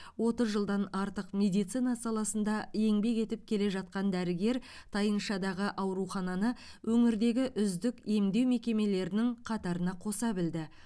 отыз жылдан артық медицина саласында еңбек етіп келе жатқан дәрігер тайыншадағы аурухананы өңірдегі үздік емдеу мекемелерінің қатарына қоса білді